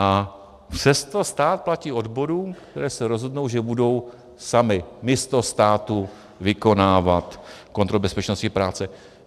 A přesto stát platí odborům, které se rozhodnou, že budou samy místo státu vykonávat kontrolu bezpečnosti práce.